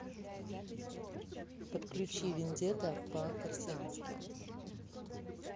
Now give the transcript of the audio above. подключи вендетта по корсикански